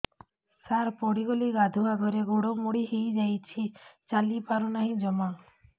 ସାର ପଡ଼ିଗଲି ଗାଧୁଆଘରେ ଗୋଡ ମୋଡି ହେଇଯାଇଛି ଚାଲିପାରୁ ନାହିଁ ଜମା